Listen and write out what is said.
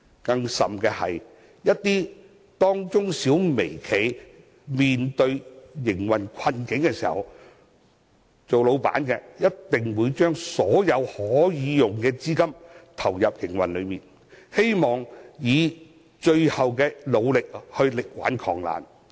更甚的是，當中小微企一旦面對營運困境，老闆必定會把所有可用的資金投入營運之中，希望運用最後的努力力挽狂瀾。